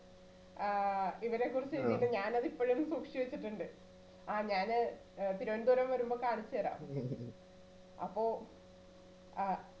ആ ഇവരെക്കുറിച്ച് എഴുതിയിട്ടുണ്ട് ഞാനത് ഇപ്പഴും സൂക്ഷിച്ചു വച്ചിട്ടുണ്ട്. ആ ഞാന് ആ തിരുവനന്തപുരം വരുമ്പോൾ കാണിച്ചുതരാം അപ്പോ അ